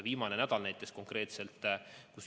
Viimane nädal näitas seda ka.